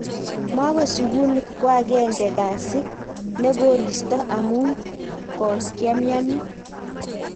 maawe sukul ko agenge kasi ne kosirto amu kokiamian